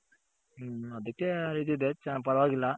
ಹ್ಮ್ ಅದಕ್ಕೆ ಇದಿದೆ ಪರವಾಗಿಲ್ಲ